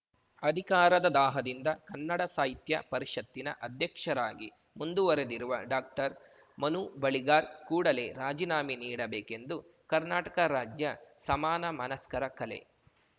ಅಧಿಕಾರದ ದಾಹದಿಂದ ಕನ್ನಡ ಸಾಹಿತ್ಯ ಪರಿಷತ್ತಿನ ಅಧ್ಯಕ್ಷರಾಗಿ ಮುಂದುವರೆದಿರುವ ಡಾಕ್ಟರ್ಮನು ಬಳಿಗಾರ್ ಕೂಡಲೇ ರಾಜೀನಾಮೆ ನೀಡಬೇಕೆಂದು ಕರ್ನಾಟಕ ರಾಜ್ಯ ಸಮಾನ ಮನಸ್ಕರ ಕಲೆ